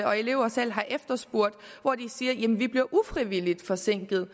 og eleverne selv har efterspurgt hvor de siger jamen vi bliver ufrivilligt forsinket